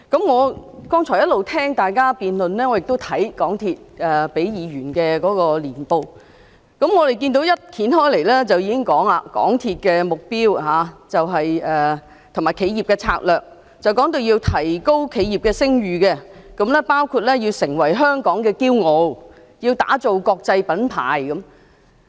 我剛才一直聆聽大家辯論，亦閱覽港鐵公司給議員的年報，當我翻開年報，便已經看到有關港鐵公司的目標及企業的策略，它要提高企業的聲譽，包括成為香港的驕傲，要打造國際品牌。